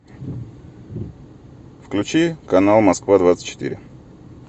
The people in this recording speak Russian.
включи канал москва двадцать четыре